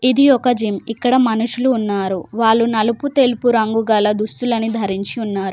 ఇది ఒక జిమ్ ఇక్కడ మనుషులు ఉన్నారు వాళ్ళు నలుపు తెలుపు రంగు గల దుస్తులను ధరించి ఉన్నారు.